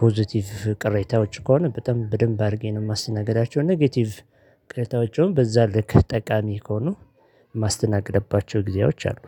ፖዘቲቭ ቅሬታዎች ከሆነ በጣም በደንብ አድርጌ ነው የማስተናገዳቸው። ኔጌቲቭ ቅሬታዎችን በዛ ልክ ጠቃሚ ከሆኑ። ማስተናገደባቸው ጊዜዎች አሉ።